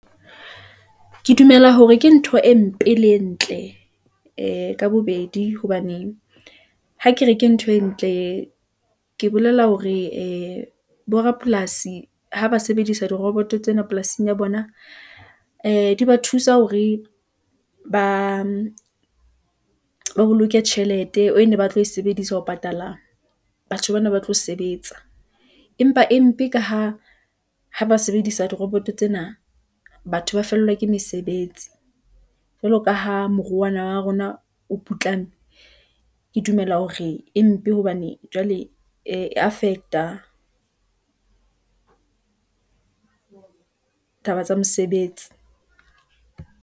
Ke dumela hore ke ntho e mpe le e ntle , e ka bobedi hobane ha ke re ke ntho e ntle , ke bolela hore ee borapolasi ha ba sebedisa diroboto tsena polasing ya bona , ee di ba thusa hore ba boloke tjhelete ene ba tlo e sebedisa ho patala batho bana ba tlo sebetsa . Empa empe ka ha ba sebedisa diroboto tsena , batho ba fellwa ke mesebetsi . Jwalo ka ha moruo, wa naha ya rona , o putlame , ke dumela hore e mpe hobane jwale, e affect-a taba tsa mosebetsi.